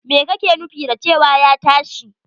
Me kake nufin da cewa ya tashi!